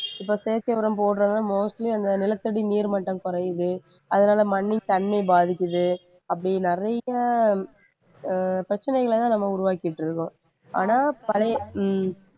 இப்ப செயற்கை உரம் போடுற mostly அந்த நிலத்தடி நீர் மட்டம் குறையுது அதனால மண்ணுக்கு தண்ணி பாதிக்குது அப்படி நிறைய உம் பிரச்சனைகளைதான் நம்ம உருவாக்கிட்டு இருக்கோம் ஆனா பழைய உம்